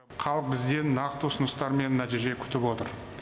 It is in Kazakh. халық бізден нақты ұсыныстар мен нәтиже күтіп отыр